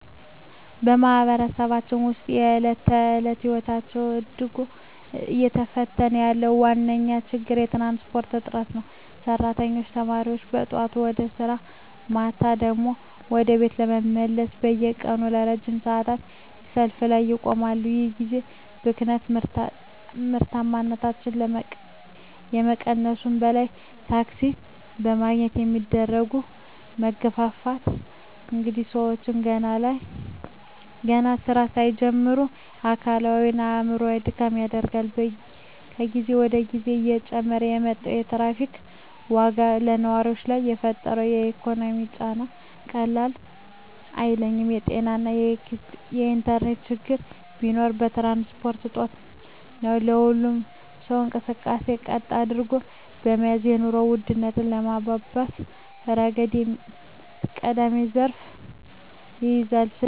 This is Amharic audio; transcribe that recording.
በማኅበረሰባችን ውስጥ የዕለት ተዕለት ሕይወትን እጅግ እየፈተነ ያለው ዋነኛው ችግር የትራንስፖርት እጥረት ነው። ሠራተኞችና ተማሪዎች ጠዋት ወደ ሥራ፣ ማታ ደግሞ ወደ ቤት ለመመለስ በየቀኑ ለረጅም ሰዓታት በሰልፍ ላይ ይቆማሉ። ይህ የጊዜ ብክነት ምርታማነትን ከመቀነሱም በላይ፣ ታክሲ ለማግኘት የሚደረገው መጋፋትና እንግልት ሰዎችን ገና ሥራ ሳይጀምሩ ለአካላዊና አእምሮአዊ ድካም ይዳርጋል። ከጊዜ ወደ ጊዜ እየጨመረ የመጣው የታሪፍ ዋጋም በነዋሪው ላይ የፈጠረው ኢኮኖሚያዊ ጫና ቀላል አይደለም። የጤናና የኢንተርኔት ችግሮች ቢኖሩም፣ የትራንስፖርት እጦት ግን የሁሉንም ሰው እንቅስቃሴ ቀጥ አድርጎ በመያዝ የኑሮ ውድነቱን በማባባስ ረገድ ቀዳሚውን ስፍራ ይይዛል። ስለሆነም ይህንን የትራንስፖርት ችግር መፍታት ለህዝቡ ዕረፍትና ለኢኮኖሚው እንቅስቃሴ ወሳኝ እርምጃ ነው።